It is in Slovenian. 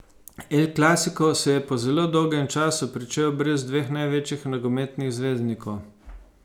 El clasico se je po zelo dolgem času pričel brez dveh največjih nogometnih zvezdnikov.